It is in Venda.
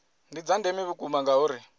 ndi dza ndeme vhukuma ngauri